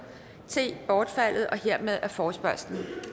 bortfaldet hermed er forespørgslen